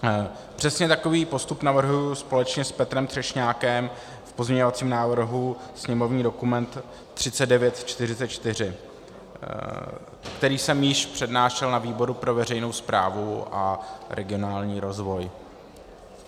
Přesně takový postup navrhuji společně s Petrem Třešňákem v pozměňovacím návrhu sněmovní dokument 3944, který jsem již přednášel na výboru pro veřejnou správu a regionální rozvoj.